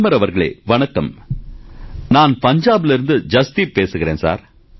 பிரதமர் அவர்களே வணக்கம் சார் நான் பஞ்சாபிலிருந்து ஜஸ்தீப் பேசுகிறேன்